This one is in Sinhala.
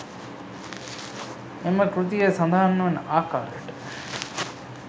එම කෘතියේ සඳහන් වන ආකාරයට